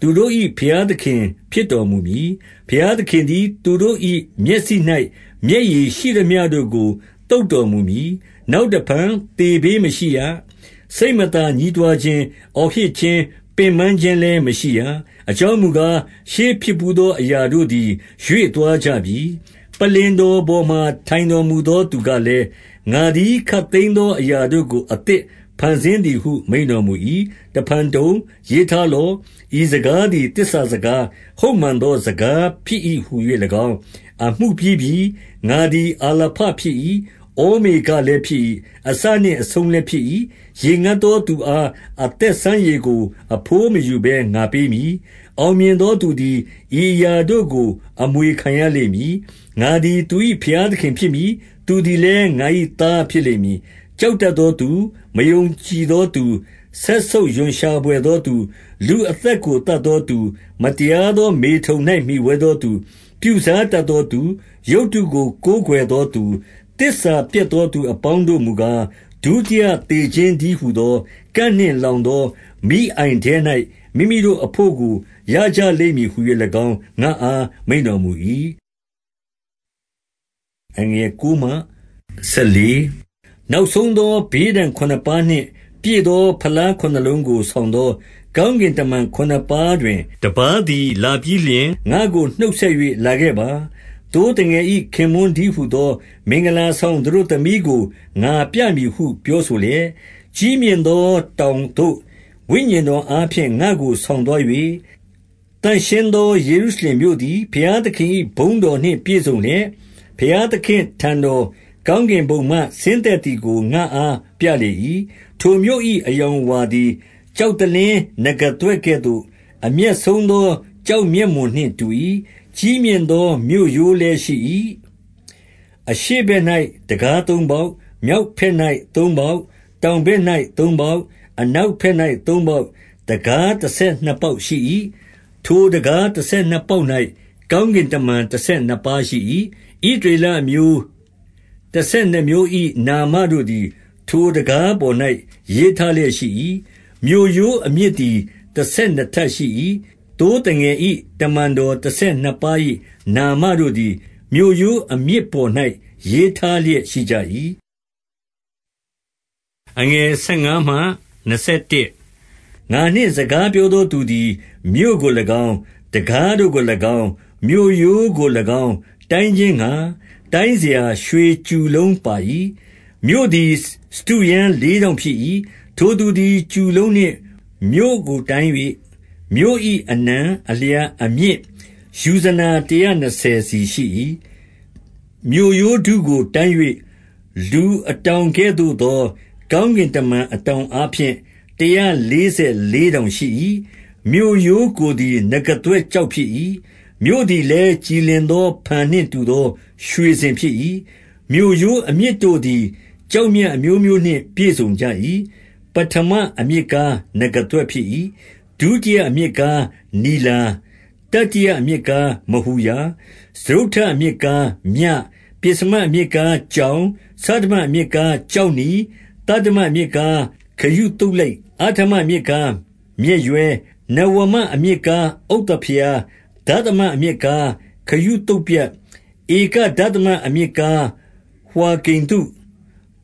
သူတို့၏ ဘုရားသခင် ဖြစ်တော်မူ မည်။ 4 ဘုရားသခင်သည် သူတို့၏ မျက်စိ၌ မျက်ရည် ရှိသမျှတို့ကို သုတ်တော်မူမည်။ နောက်တဖန် သေဘေး မရှိရ။ စိက်မသာ ညည်းတွားခြင်း၊ အော်ဟစ်ခြင်း၊ ပင်ပန်းခြင်းလည်း မရှိရ။ အကြောင်းမူကား၊ ရှေးဖြစ် ဘူးသောအရာတို့သည် ရွေသွားကြပြီ။ 5 ပလ္လင်တော်ပေါ်မှာ ထိုင်တော်မူသောသူက လည်း၊ ငါသည် ခပ်သိမ်းသော အရာတို့ကို အသစ် ဖန်ဆင်းသည်ဟု မိန့်တော်မူ၏။ တဖန် တုံ၊ ရေးထား လော့။ ဤစကားသည် သစ္စာစကား၊ ဟုတ်မှန်သော စကားဖြစ်၏ ဟူ၍၎င်း၊ 6 အမှုပြီးပြီ။ ငါသည် အာလပဖြစ်၏။ ဩမေဃ လည်း ဖြစ်၏။ အစနှင့်အဆုံးလည်းဖြစ်၏။ ရေငတ်သော သူအား အသက်စမ်းရေကို အဘိုးမယူဘဲ ငါပေးမည်။ 7 အောင်မြင်သောသူသည် ဤအရာတို့ကို အမွေ ခံရလိမ့်မည်။ ငါသည် သူ၏ ဘုရားသခင်ဖြစ်မည်။ သူသည်လည်း ငါ၏သား ဖြစ်လိမ့်မည်။ 8 ကြောက်တတ်သောသူ၊ မယုံကြည်သောသူ၊ စက်ဆုပ်ရွံ့ရှာ ဘွယ်သောသူ၊ လူအသက်ကို သတ်သော သူ၊ မတရားသော မေထုန်၌ မှီဝဲသောသူ၊ ပြုစားတတ် သောသူ၊ ရုပ်တုကို ကိုးကွယ်သောသူ၊ သစ္စာပျက်သောသူ အပေါင်းတို့မူကား၊ ဒုတိယသေခြင်းတည်းဟူသော ကန့် နှင့်လောင်သော မီးအိုင်ထဲ၌ မိမိတို့အဘို့ကို ရကြလိမ့်မည် ဟူ၍၎င်း ငါ့အား မိန့်တော်မူ၏။ 9 နောက်ဆုံးသော ဘေးဒဏ်ခုနစ်ပါးနှင့် ပြည့် သော ဖလားခုနစ်လုံးကို ဆောင်သော ကောင်းကင်တမန် ခုနစ်ပါးတွင် တပါးသည် လာပြီးလျှင် ငါ့ကိုနှုတ်ဆက်၍၊ လာခဲ့ပါ။ သိုးသငယ်၏ ခင်ပွန်းတည်း ဟူသော မင်္ဂလာ ဆောင်သတို့သမီးကို ငါပြမည်ဟု ပြောဆိုလျက် ၊ 10 ကြီးမြင့်သော တောင်သို့ ဝိညာဉ်တော်အားဖြင့် ငါ့ကို ဆောင်သွား၍ သန့်ရှင်းသော ယေရုရှလင်မြို့သည် ဘုရားသခင်၏ ဘုန်းတော်နှင့် ပြည့်စုံလျက်၊ ဘုရားသခင့် အထံတော်၊ ကောင်းကင်ဘုံမှ ဆင်းသက်သည်ကို ငါ့အား ပြလေ၏။ 11 ထိုမြို့၏ အရောင်အဝါသည်၊ ကျောက်သလင်း နဂါးသွဲ့ကဲ့သို့၊ အမြတ်ဆုံးသော ကျောက်မျက်မွန်နှင့် တူ၏။ 12 ကြီးမြင့်သော မြို့ရိုးလည်းရှိ၏။ 13 အရှေ့ဘက်၌ တံခါးသုံးပေါက်၊ မြောက်ဘက်၌ သုံးပေါက်၊ တောင်ဘက်၌သုံးပေါက်၊ အနောက်ဘက်၌ သုံးပေါက်၊ တံခါးတဆယ်နှစ်ပေါက်ရှိ၏။ ထိုတံခါး တဆယ်နှစ်ပေါက်၌ ကောင်းကင်တမန် တဆယ်နှစ်ပါး ရှိ၏။ ဣသရေလအမျိုး တဆယ်နှစ်မျိုး၏ နာမတို့သည် ထိုတံခါးပေါ်၌ ရေးထားလျက်ရှိ၏။ 14 မြို့ရိုးအမြစ်သည် တဆယ်နှစ်ပါး၏ နာမတို့ သည် မြို့ရိုးအမြစ်ပေါ်၌ ရေးထားလျက်ရှိကြ၏။ 15 ငါနှင့်စကားပြောသောသူသည်၊ မြို့ကို၎င်း၊ တံခါးတို့ကို၎င်း၊ မြို့ရိုးကို၎င်း တိုင်းခြင်းငှါ၊ တိုင်းစရာ ရွှေကျူလုံးပါ၏။ 16 မြို့သည် စတုရန်းလေးထောင့်ဖြစ်၏။ ထိုသူ သည် ကျူလုံးနှင့် မြို့ကိုတိုင်း၍ မြို့၏ အနံ၊ အလျား၊ အမြင့်၊ ယူဇနာတရာနှစ်ဆယ်စီရှိ၏။ 17 မြို့ရိုးဒုကို တိုင်း၍၊ လူအတောင်ကဲ့သို့သော ကောင်းကင်တမန် အတောင်အားဖြင့်၊ တရာလေးဆယ် လေးတောင်ရှိ၏။ 18 မြို့ရိုးကိုယ်သည် နဂါးသွဲ့ကျောက်ဖြစ်၏။ မြို့သည်လည်း ကြည်လင်သောဖန်နှင့် တူသော ရွှေစင် ဖြစ်၏။ 19 မြို့ရိုးအမြစ်တို့သည် ကျောက်မြတ်အမျိုးမျိုးနှင့် ပြည့်စုံကြ၏။ ပဋ္ဌမအမြစ်ကားနဂါးသွဲ့ဖြစ်၏။ ဒုတိယ အမြစ်ကား နီလာ၊ တတိယအမြစ်ကား မဟူရာ၊ စတုတ္ထ အမြစ်ကား မြ၊ 20 ပဥ္စမအမြစ်ကား ကြောင်၊ ဆဋ္ဌမအမြစ် ကား ကျောက်နီ၊ သတ္တမအမြစ်ကား ခရုသုလိတ်၊ အဋ္ဌမ အမြစ်ကား မျက်ရွဲ၊ နဝမအမြစ်ကား ဥဿဖရား၊ ဒသမ အမြစ်ကား ခရုသုပြတ်၊ ဧကဒသမ အမြစ်ကား ဝှါကိနု၊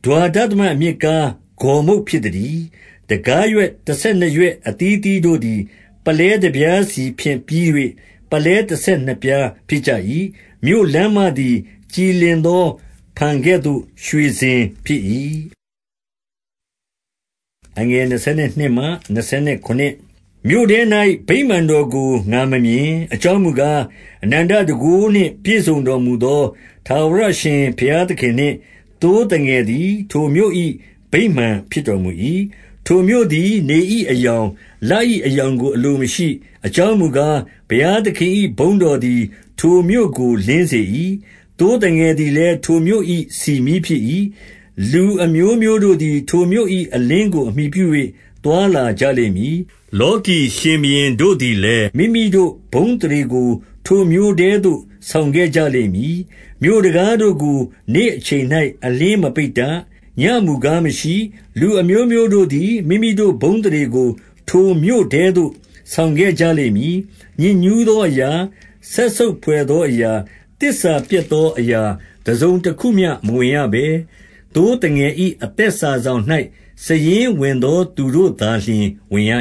ဒွါဒသမအမြစ်ကား ဂေါ်မုတ်ဖြစ်သတည်း။ 21 တံခါးရွက် တဆယ်နှစ်ရွက်အသီးအသီးတို့သည် ပုလဲတပြားစီဖြင့်ပြီး၍ ပုလဲတဆယ်နှစ်ပြားဖြစ်ကြ၏။ မြို့လမ်းမသည် ကြည်လင်သော ဖန်ကဲ့သို့သော ရွှေစင် ဖြစ်၏။ 22 မြို့ထဲ၌ ဗိမာန်တော်ကိုငါမမြင်၊ အကြောင်းမူ ကား၊ အနန္တတန်ခိုးနှင့် ပြည့်စုံတော်မူသော ထာဝရအရှင် ဘုရားသခင်နှင့် သိုးသငယ်သည် ထိုမြို့၏ ဗိမာန်ဖြစ် တော်မူ၏။ 23 ထိုမြို့သည် နေ၏အရောင်၊ လ၏ အရောင်ကို အလိုမရှိ။ အကြောင်းမူကား၊ ဘုရားသခင်၏ ဘုန်းတော် သည် ထိုမြို့ကို လင်းစေ၏။ သိုးသငယ်သည်လည်း ထိုမြို့၏ ဆီမီးဖြစ်၏။ 24 လူအမျိုးမျိုးတို့သည် ထိုမြို့၏ အလင်းကို အမှီပြု ၍ သွားလာကြလိမ့်မည်။ လောကီရှင်ဘုရင်တို့သည်လည်း မိမိတို့ဘုန်းအသရေကို ထိုမြို့ထဲသို့ ဆောင်ခဲ့ကြလိမ့်မည်။ 25 မြို့တံခါးတို့ကို နေ့အချိန်၌ အလျှင်းမပိတ်တတ်။ ညဉ့်မူကား မရှိ။ 26 လူအမျိုးမျိုးတို့သည် မိမိတို့ ဘုန်းအသရေကို ထိုမြို့ထဲသို့ ဆောင်ခဲ့ကြလိမ့်မည်။ 27 ညစ်ညူးသောအရာ၊ စက်ဆုပ်ဘွယ်သောအရာ၊ သစ္စာပျက်သောအရာ တစုံတခုမျှမဝင်ရဘဲ၊ သိုးသငယ်၏ အသက်စာစောင်၌ စာရင်းဝင်သော သူတို့သာလျှင် ဝင်ရ